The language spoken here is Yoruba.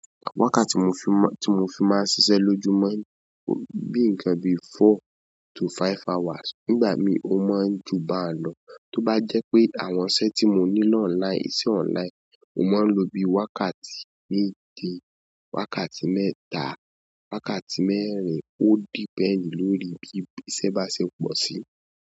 Wákàtí tí mo fi máa, tí mo fi máa ń ṣiṣẹ́ lójúmọ́ ni bíi ńǹkan bíi four to five hours. Nígbà mí ó máa ń jù bánlọ̀, tó bá jẹ́ pé àwọn iṣẹ́ tí mo ní ni online iṣẹ́ online, mo máa ń lo bí i wákàtí méje, wákàtí mẹ́ta, wákàtí mẹ́rin, ó depend lórí bí i iṣẹ́ bá ṣe pọ̀ sí i.